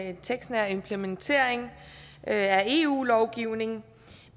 en tekstnær implementering af eu lovgivningen